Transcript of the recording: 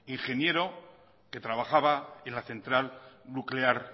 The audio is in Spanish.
ingeniero que trabajaba en la central nuclear